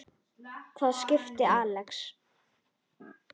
Hvaða skipi, Axel?